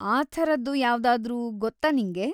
ಆ ಥರದ್ದು ಯಾವ್ದಾದ್ರೂ ಗೊತ್ತಾ ನಿಂಗೆ?